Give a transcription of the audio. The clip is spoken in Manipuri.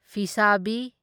ꯐꯤꯁꯥꯕꯤ